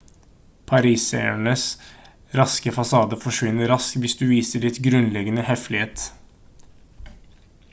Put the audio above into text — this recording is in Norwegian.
parisernes raske fasade forsvinner raskt hvis du viser litt grunnleggende høflighet